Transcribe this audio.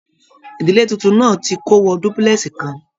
Ìdílé títún náà tí kò wọ dúpúlẹ́sì kàn.